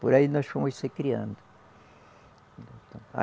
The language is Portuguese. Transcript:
Por aí nós fomos se criando.